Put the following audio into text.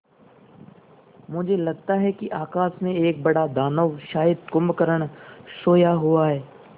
मुझे लगता है कि आकाश में एक बड़ा दानव शायद कुंभकर्ण सोया हुआ है